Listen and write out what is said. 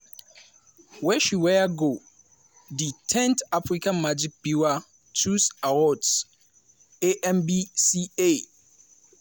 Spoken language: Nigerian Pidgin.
wey she wear go di 10th africa magic viewers choice awards (amvca).